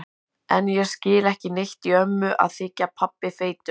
En ég skil ekki neitt í ömmu að þykja pabbi feitur.